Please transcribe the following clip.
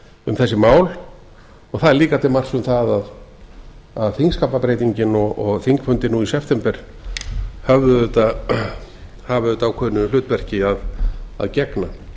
um þessi mál og það er líka til marks um það að þingskapabreytingin og þingfundir nú í september hafa auðvitað ákveðnu hlutverki að gegna